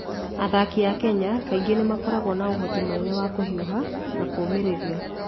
Athaki a Kenya kaingĩ nĩ makoragwo na ũhoti mũnene wa kũhiũha na kũũmĩrĩria.